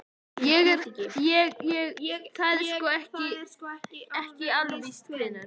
Ég. ég. það er sko. ekki alveg víst hvenær.